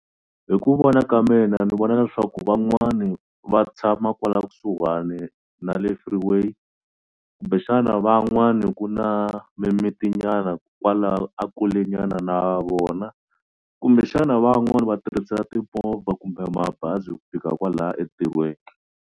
Hi ku vona ka mina ni vona leswaku van'wani va tshama kwala kusuhani na le freeway kumbexana van'wani ku na mimiti nyana kwalaho a kule nyana na vona kumbexana van'wani va tirhisa timovha kumbe mabazi ku fika kwalaya entirhweni.